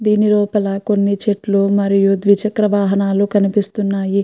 దీని లోపల కొన్ని చెట్లు మరియు ద్విచక్ర వాహనాల కనిపిస్తున్నాయి.